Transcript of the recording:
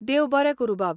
देव बरें करूं बाब!